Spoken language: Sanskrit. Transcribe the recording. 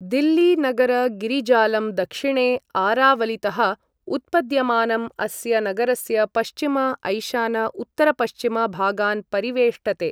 दिल्ली नगर गिरिजालं दक्षिणे आरावलितः उत्पद्यमानम् अस्य नगरस्य पश्चिम ऐशान उत्तरपश्चिम भागान् परिवेष्टते।